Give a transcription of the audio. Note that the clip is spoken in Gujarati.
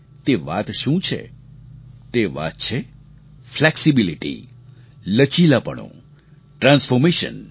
તે વાત શું છે તે વાત છે ફ્લેક્સિબિલિટી લચીલાપણું ટ્રાન્સફૉર્મેશન